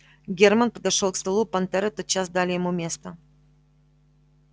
германн подошёл к столу понтёры тотчас дали ему место